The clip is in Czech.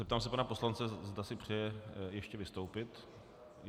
Zeptám se pana poslance, zda si přeje ještě vystoupit.